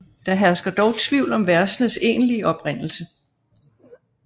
Der hersker dog tvivl om versenes egentlige oprindelse